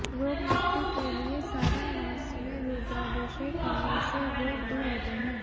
रोग मुक्ति के लिए सावन मास में रुद्राभिषेक करने से रोग दूर होते हैं